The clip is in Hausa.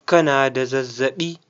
Ka na da zazzaɓi?